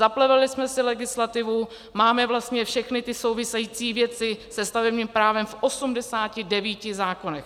Zaplevelili jsme si legislativu, máme vlastně všechny ty související věci se stavebním právem v 89 zákonech.